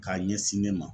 K'a ɲɛsin ne ma